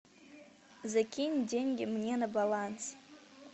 закинь деньги мне на баланс